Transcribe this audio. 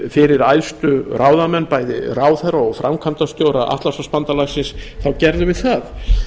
fyrir æðstu ráðamenn bæði ráðherra og framkvæmdastjóra atlantshafsbandalagsins gerðum við það